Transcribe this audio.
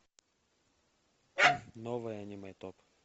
новое аниме топ